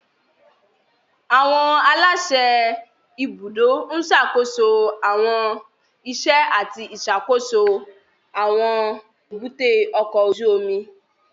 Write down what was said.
Àwọn aláṣẹ ibùdó ń ṣàkóso àwọn iṣẹ́ àti ìṣàkóso tí àwọn èbúté ọkọ̀ ojú omi